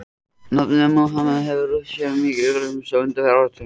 Nafnið Múhameð hefur rutt sér mjög til rúms á undanförnum áratugum.